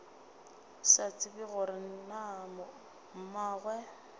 sa tsebe gore na mmagwe